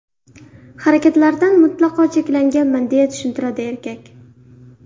Harakatlardan mutlaqo cheklanganman”, − deya tushuntiradi erkak.